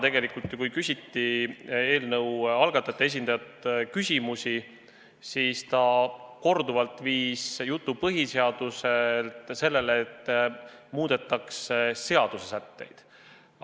Täna ju küsiti eelnõu algatajate esindajalt selle kohta korduvalt ja ta viis jutu põhiseaduselt sellele, et muudetakse seaduste sätteid.